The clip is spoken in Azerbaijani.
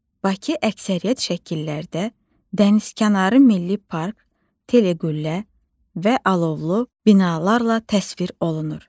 Bakı əksəriyyət şəkillərdə Dənizkənarı Milli Park, Teleqüllə və Alovlu binalarla təsvir olunur.